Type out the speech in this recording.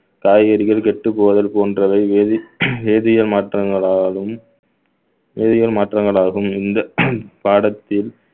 காய்கறிகள் கெட்டப் போவது போன்றவை வேதி~ வேதிய மாற்றங்களாலும் வேதியியல் மாற்றங்களாகவும் இந்த பாடத்தில்